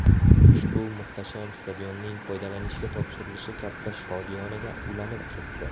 Ushbu muhtasham stadionning foydalanishga topshirilishi katta shodiyonaga ulanib ketdi.